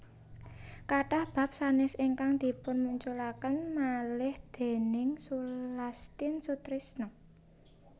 Kathah bab sanès ingkang dipunmunculaken malih déning Sulastin Sutrisno